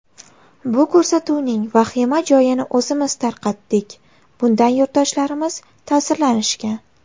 Bu ko‘rsatuvning vahima joyini o‘zimiz tarqatdik, bundan yurtdoshlarimiz ta’sirlanishgan.